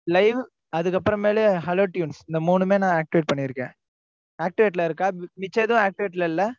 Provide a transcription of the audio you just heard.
live அதுக்கப்புறமேலு, hello tunes இந்த மூணுமே, நான் activate பண்ணியிருக்கேன். மிச்சம், எதுவும் activaty ல இல்ல?